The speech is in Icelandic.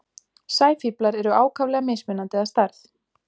Sæfíflar eru ákaflega mismunandi að stærð.